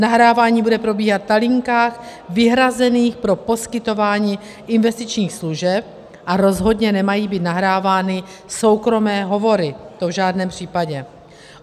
Nahrávání bude probíhat na linkách vyhrazených pro poskytování investičních služeb a rozhodně nemají být nahrávány soukromé hovory, to v žádném případě.